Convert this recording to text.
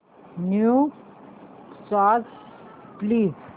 new songs please